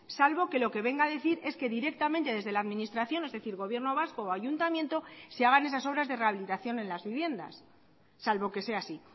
salvo que lo que venga a decir es que directamente desde la administración es decir gobierno vasco o ayuntamiento se hagan esas obras de rehabilitación en las viviendas salvo que sea así